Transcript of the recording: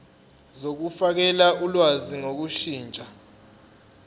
zokufakela ulwazi ngokushintsha